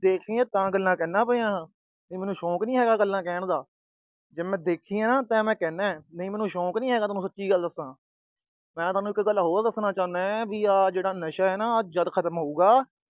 ਦੇਖੀ ਆ ਤਾਂ ਗੱਲਾਂ ਕਹਿੰਦਾ ਪਿਆ। ਮੈਨੂੰ ਸ਼ੌਂਕ ਨੀ ਹੈਗਾ ਗੱਲਾਂ ਕਹਿਣ ਦਾ। ਜੇ ਮੈਂ ਦੇਖੀਆਂ, ਤਾਂ ਮੈਂ ਕਹਿੰਦਾ, ਨਹੀਂ ਮੈਨੂੰ ਸ਼ੌਂਕ ਨੀ ਹੈਗਾ, ਮੈਂ ਸੱਚੀ ਗੱਲ ਦੱਸਾ। ਮੈਂ ਤੁਹਾਨੂੰ ਇੱਕ ਗੱਲ ਹੋਰ ਦੱਸਣਾ ਚਾਹੁੰਦਾ ਆਹ ਜਿਹੜਾ ਨਸ਼ਾ ਆ ਨਾ ਆ ਜਦ ਖਤਮ ਹੋਊਗਾ